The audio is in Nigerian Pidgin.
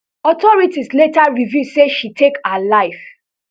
authorities later reveal say she take her life